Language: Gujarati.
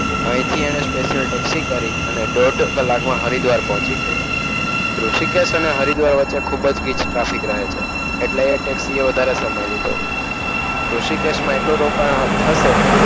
અહીંથી એને સ્પેશિયલ ટેક્સી કરી અને દોઢ કલાકમાં હરિદ્વાર પહોંચી ગયો. ઋષિકેશ અને હરિદ્વાર વચ્ચે ખૂબ જ ગીજ ટ્રાફિક રહે છે. એટલે એ ટેક્સી એ વધારે સમય લીધો ઋષિ કેસમાં એટલું રોકાણ થશે,